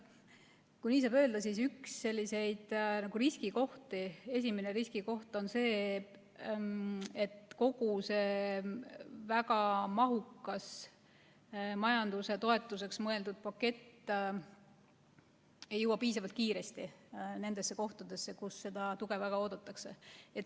Kui nii saab öelda, siis üks riskikoht on see, et kogu see väga mahukas majanduse toetuseks mõeldud pakett ei jõua piisavalt kiiresti nendesse kohtadesse, kus seda tuge väga oodatakse.